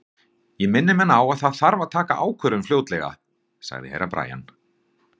Ég minni menn á að það þarf að taka ákvörðun fljótlega, sagði Herra Brian.